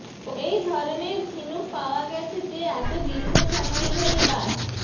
এই ধরনের ঝিনুক পাওয়া গেছে যে এত দীর্ঘ সময় ধরে বাস